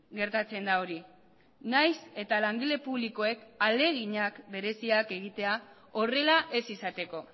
gertatzen da hori nahiz eta langile publikoek ahaleginak bereziak egitea horrela ez izateko